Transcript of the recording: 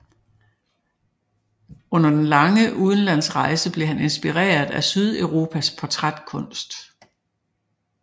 Under den lange udenlandsrejse blev han inspireret af Sydeuropas portrætkunst